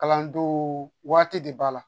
Kalandenw waati de b'a la